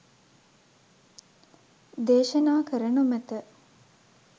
දේශනා කර නොමැත.